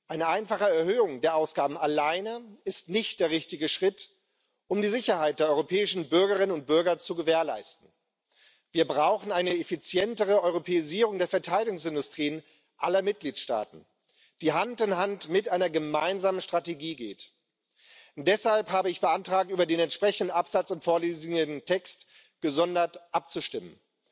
Eine einfache Erhöhung der Ausgaben alleine ist nicht der richtige Schritt, um die Sicherheit der europäischen Bürgerinnen und Bürger zu gewährleisten. Wir brauchen eine effizientere Europäisierung der Verteidigungsindustrien aller Mitgliedstaaten, die Hand in Hand mit einer gemeinsamen Strategie geht. Deshalb habe ich beantragt, über den entsprechenden Absatz im vorliegenden Text gesondert abzustimmen.